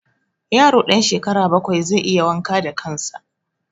Yaro ɗan shekara bakwai zai iya wanka da kan sa